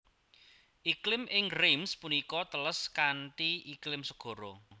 Iklim ing Reims punika teles kanthi iklim segara